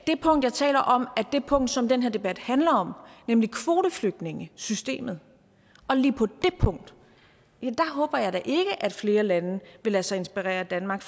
det punkt jeg taler om er det punkt som den her debat handler om nemlig kvoteflygtningesystemet og lige på det punkt håber jeg da ikke at flere lande vil lade sig inspirere af danmark